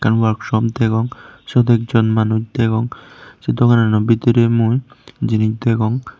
ekkan warksop degong syot ekjon manuj degong sei doganano bidirey mui jinis degong.